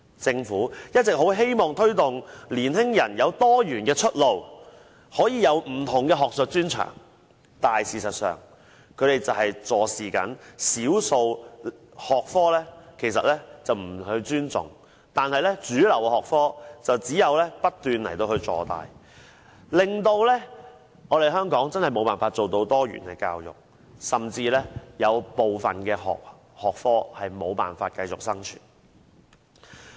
政府一直希望推動年青人有多元出路，有不同的學術專長，但事實上，對少數學科卻坐視不理，不予尊重，讓主流學科不斷坐大，令香港無法做到多元教育，甚至部分學科無法繼續生存。